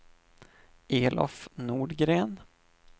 Elof Nordgren